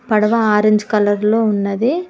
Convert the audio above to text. పడవ orange colour లో ఉన్నది.